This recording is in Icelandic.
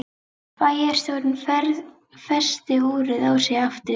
Bæjarstjórinn festi úrið á sig aftur.